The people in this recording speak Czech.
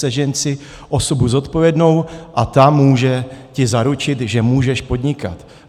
Sežeň si osobu zodpovědnou a ta ti může zaručit, že můžeš podnikat.